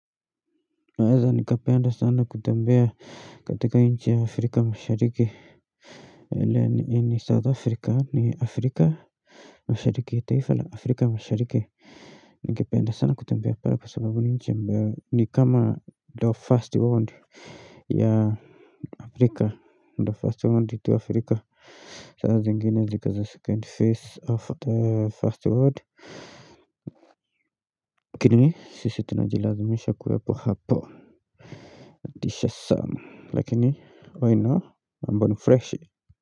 Naweza nikapenda sana kutembea katika nchi afrika mashariki ni south afrika ni afrika mashariki taifa la afrika mashariki Ningependa sana kutembea pale kwa sababu nchi ni kama the first world ya afrika the first world to afrika saa zengini ziko za second phase of the first world lakini sisi tunajilazimisha kuwepo hapo lakini mambo ni freshi.